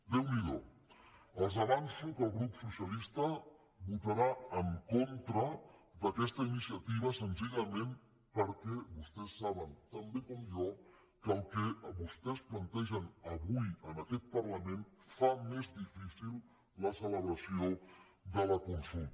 déu n’hi do els avanço que el grup socialista votarà en contra d’a questa iniciativa senzillament perquè vostès saben tan bé com jo que el que vostès plantegen avui en aquest parlament fa més difícil la celebració de la consulta